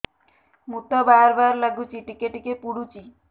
ମୁତ ବାର୍ ବାର୍ ଲାଗୁଚି ଟିକେ ଟିକେ ପୁଡୁଚି